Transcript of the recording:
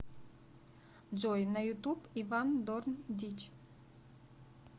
джой на ютуб иван дорн дичь